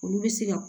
Olu bɛ se ka